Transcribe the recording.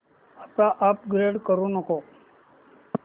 आता अपग्रेड करू नको